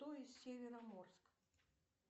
то есть североморск